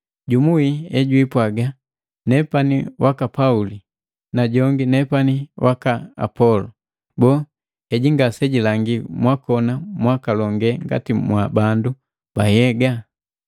Jumu wii ejupwaga, “Nepani waka Pauli” Najongi, “Nepani wa Apolo,” Boo, heji ngasejilangi mwakona mwakalonge ngati mwa bandu ba nhyega?